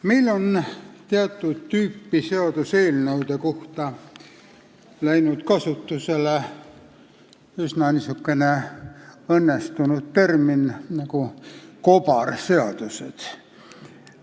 Meil on teatud tüüpi seaduseelnõude kohta läinud kasutusele niisugune üsna õnnestunud termin nagu "kobareelnõud".